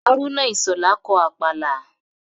Hárúnà Ìṣhọ̀lá kọ Àpàlà